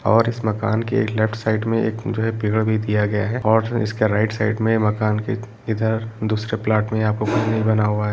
और इस मकान के एक लेफ्ट साइड में एक भी दिया गया है और इसके राइट साइड में मकान के इधर दूसरे फ्लैट में आपको बना हुआ है।